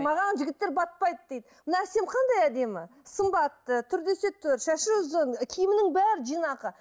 маған жігіттер батпайды дейді мына сен қандай әдемі сымбатты түр десе түр шашы ұзын киімінің бәрі жинақы